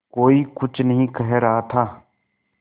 कोई कुछ नहीं कह रहा था